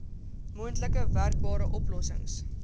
moontlik werkbare oplossings